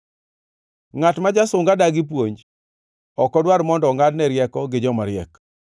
Ngʼat ma jasunga dagi puonj, ok odwar mondo ongʼadne rieko gi jomariek.